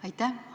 Aitäh!